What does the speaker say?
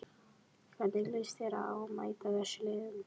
Hvernig líst þér á að mæta þessum liðum?